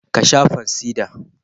Ka sha fansida